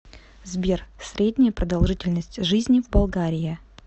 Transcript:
сбер средняя продолжительность жизни в болгария